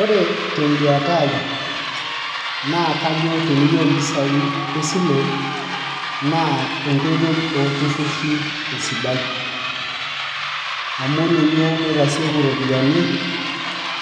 ore teduata ai, naa kajo teniyieu mpisai esile, naa enkoitoi ooltururi, esidai. amu ninye naitasieku iroiyiani,